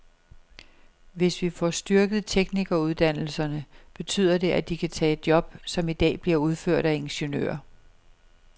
Hvis vi får styrket teknikeruddannelserne, betyder det, at de kan tage job, som i dag bliver udført af ingeniører.